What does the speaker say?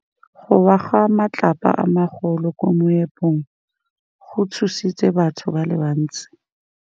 Go wa ga matlapa a magolo ko moepong go tshositse batho ba le bantsi.